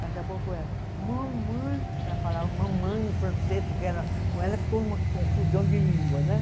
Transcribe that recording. Daqui a pouco ela Ela falava mamãe em francês, porque com ela ficou uma confusão de língua, né?